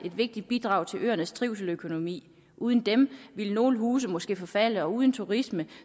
vigtigt bidrag til øernes trivsel og økonomi uden dem ville nogle huse måske forfalde og uden turisme